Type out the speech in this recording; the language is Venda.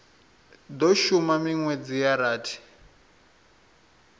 do shuma minwedzi ya rathi